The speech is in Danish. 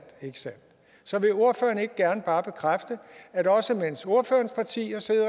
ikke sandt så vil ordføreren ikke bare bekræfte at også mens ordførerens parti har siddet